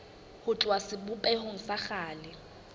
ho tloha sebopehong sa kgale